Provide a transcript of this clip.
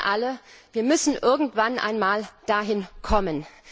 Wir wissen alle, wir müssen irgendwann einmal dahin kommen.